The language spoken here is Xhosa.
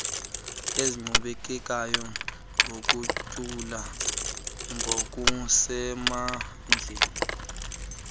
eziqhubekekayo nogutyulo ngokusemandleni